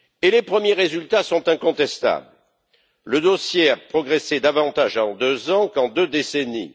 Les premiers résultats sont incontestables le dossier a progressé davantage en deux ans qu'en deux décennies.